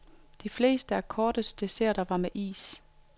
De fleste af kortets desserter var med is.